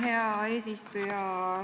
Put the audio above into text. Aitäh, hea eesistuja!